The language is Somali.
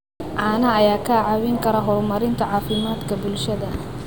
Caanaha ayaa kaa caawin kara horumarinta caafimaadka bulshada.